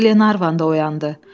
Glenarvan da oyandı.